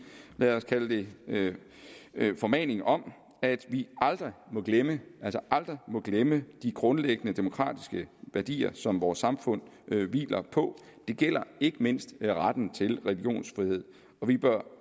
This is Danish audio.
lad os kalde det det formaning om at vi aldrig må glemme aldrig glemme de grundlæggende demokratiske værdier som vores samfund hviler på det gælder ikke mindst retten til religionsfrihed og vi bør